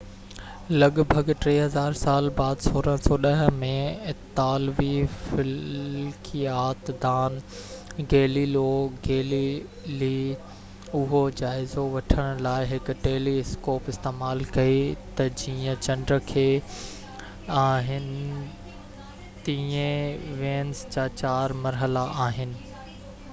لڳ ڀڳ ٽي هزار سال بعد 1610 ۾ اطالوي فلڪيات دان گيليليو گيليلي اهو جائزو وٺڻ لاءِ هڪ ٽيلي اسڪوپ استعمال ڪئي ته جيئن چنڊ کي آهن تيئن وينس جا چار مرحلا آهن